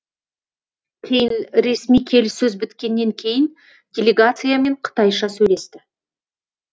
кейін ресми келіссөз біткеннен кейін делегациямен қытайша сөйлесті